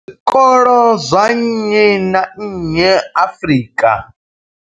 Zwikolo zwa nnyi na nnyi Afrika.